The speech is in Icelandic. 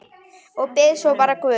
Og bið svo bara guð.